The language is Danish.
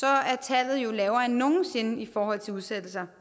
er tallet jo lavere end nogen sinde i forhold til udsættelser